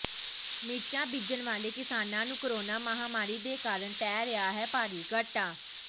ਮਿਰਚਾਂ ਬੀਜਣ ਵਾਲੇ ਕਿਸਾਨਾਂ ਨੂੰ ਕੋਰੋਨਾ ਮਹਾਮਰੀ ਦੇ ਕਾਰਨ ਪੈ ਰਿਹਾ ਹੈ ਭਾਰੀ ਘਾਟਾ